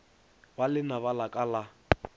ba lenaba la ka la